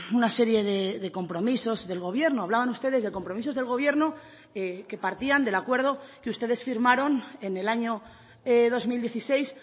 una serie de compromisos del gobierno hablaban ustedes de compromisos del gobierno que partían del acuerdo que ustedes firmaron en el año dos mil dieciséis